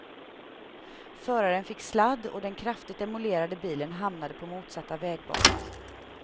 Föraren fick sladd och den kraftigt demolerade bilen hamnade på motsatta vägbanan.